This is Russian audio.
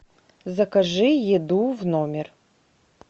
закажи еду в номер